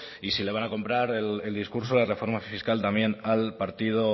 y si le van a comprar el discurso de reforma fiscal también al partido